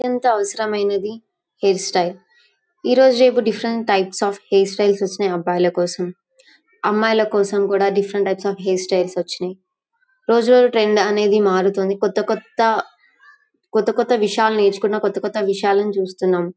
ఎంత అవసరమైనది hair style . ఈ రోజుల్లేమో different types of hair styles వచ్చిన్నాయ్ అబ్బాయిల కోసం. అమ్మాయిల కోసం కూడా different types of hair styles వచ్చిన్నయ్. రోజువారీ ట్రెండ్ అనేది మారుతుంది. కొత్త కొత్త కొత్త కొత్త విషయాలను నేర్చుకున్నాం . కొత్త కొత్త విషయాలను చూస్తున్నాం.